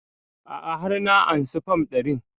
A'a har na ansa fam ɗarin